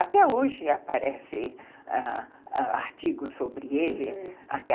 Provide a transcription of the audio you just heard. Até hoje aparecem ãh ãh artigos sobre ele.